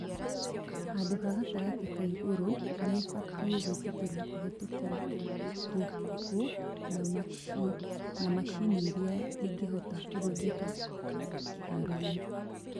Handũ ha gatagatĩ ka igũrũ nĩibatie gwĩtĩkĩrio kũhetũkĩra tũhũ na macini iria ĩngĩhota kũhũthĩka kĩharoo-inĩ